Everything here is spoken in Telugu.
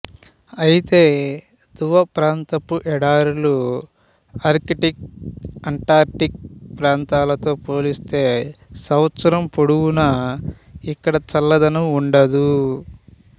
అయితే ధ్రువప్రాంతపు ఎడారులు ఆర్కిటిక్ అంటార్కిటిక్ ప్రాంతాలు తో పోలిస్తే సంవత్సరం పొడుగునా ఇక్కడ చల్లదనం వుండదు